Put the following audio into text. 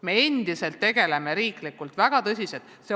Me tegeleme sellega endiselt riiklikul tasemel ja väga tõsiselt.